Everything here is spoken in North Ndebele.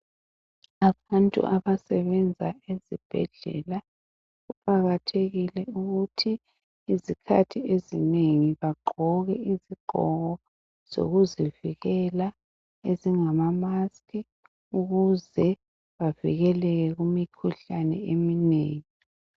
Abantu abesebenza ezibhedlela kuqakathekile ukuthi izikhathi ezinengi bagqoke izigqoko zokuzivikela ezingamamask ukuze bavikeleke kumikhuhlane eminengi.